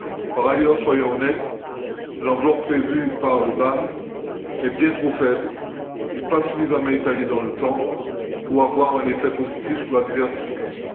Par ailleurs, soyons honnêtes, l'enveloppe prévue par le BAM est bien trop faible et pas suffisamment étalée dans le temps pour avoir un effet positif sur la diversification.